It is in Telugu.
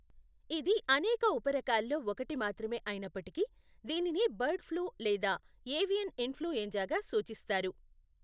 ఇది అనేక ఉప రకాల్లో ఒకటి మాత్రమే అయినప్పటికీ దీనిని బర్డ్ ఫ్లూ లేదా ఏవియన్ ఇన్ఫ్లుఎంజాగా సూచిస్తారు.